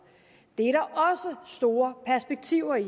det er der også store perspektiver i